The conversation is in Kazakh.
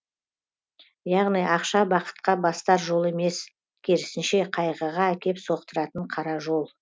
яғни ақша бақытқа бастар жол емес керісінше қайғыға әкеп соқтыратын қара жол